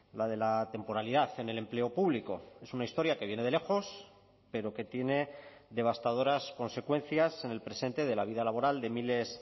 la de la temporalidad en el empleo público es una historia que viene de lejos pero que tiene devastadoras consecuencias en el presente de la vida laboral de miles